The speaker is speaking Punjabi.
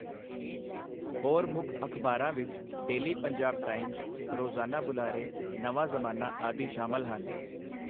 ਹੋਰ ਮੁੱਖ ਅਖ਼ਬਾਰਾਂ ਵਿੱਚ ਡੇਲੀ ਪੰਜਾਬ ਟਾਈਮਜ਼, ਰੋਜ਼ਾਨਾ ਬੁਲਾਰੇ, ਨਵਾਂ ਜ਼ਮਾਨਾ ਆਦਿ ਸ਼ਾਮਲ ਹਨ।